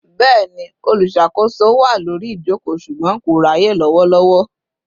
Bẹni, olùṣàkóso wá lórí ijoko ṣùgbọ́n kò ráyè lowolowo